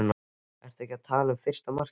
Ertu ekki að tala um fyrsta markið?